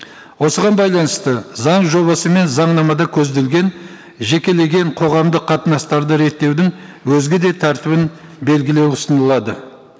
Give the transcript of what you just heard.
осыған байланысты заң жобасы мен заңнамада көзделген жекелеген қоғамдық қатынастарды реттеудің өзге де тәртібін белгілеу ұсынылады